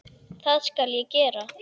Það skal ég gera.